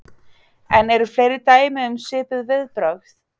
En eru fleiri dæmi um svipuð viðbrögð?